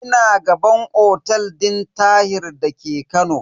Ina gaban otel din Tahir da ke Kano.